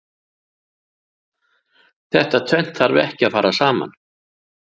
Þetta tvennt þarf ekki að fara saman.